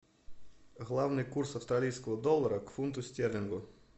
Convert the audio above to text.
главный курс австралийского доллара к фунту стерлингу